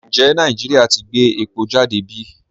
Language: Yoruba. Ǹjẹ̀ Nàìjíríà ti gbẹ̀ èpò jàdé bí?